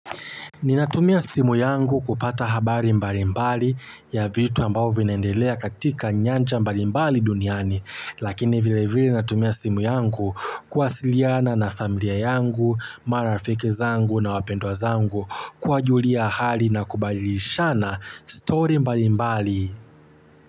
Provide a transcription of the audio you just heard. Ninatumia simu yangu kupata habari mbali mbali ya vitu ambao vinaendelea katika nyanja mbali mbali duniani. Lakini vile vile natumia simu yangu kuwasiliana na familia yangu, marafiki zangu na wapendwa zangu. Kuwajulia hali na kubadilishana story mbali mbali.